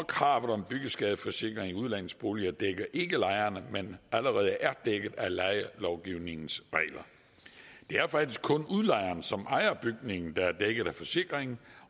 kravet om byggeskadeforsikring i udlejningsboliger dækker ikke lejerne der allerede er dækket af lejelovgivningens regler det er faktisk kun udlejeren som ejer bygningen der er dækket af forsikringen